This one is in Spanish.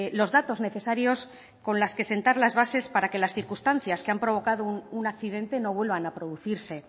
los datos necesarios con las que sentar las bases para que las circunstancias que han provocado un accidente no vuelvan a producirse